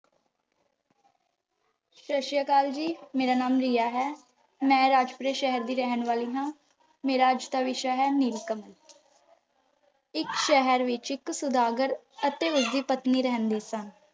ਸਤਿ ਸ਼੍ਰੀ ਅਕਾਲ ਜੀ, ਮੇਰਾ ਨਾਮ ਰੀਆ ਹੈ, ਮੈਂ ਰਾਜਪੁਰੇ ਸ਼ਹਿਰ ਦੀ ਰਹਿਣ ਵਾਲੀ ਹਾਂ। ਮੇਰਾ ਅੱਜ ਦਾ ਵਿਸ਼ਾ ਹੈ, ਨੀਲ ਕਮਲ, ਇੱਕ ਸ਼ਹਿਰ ਵਿੱਚ ਇੱਕ ਸੁਦਾਗਰ ਅਤੇ ਉਸਦੀ ਪਤਨੀ ਰਹਿੰਦੇ ਸਨ।